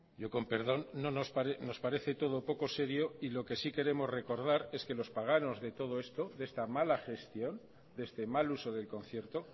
yo con perdón nos parece todo poco serio y lo que sí queremos recordar es que los paganos de todo esto de esta mala gestión de este mal uso del concierto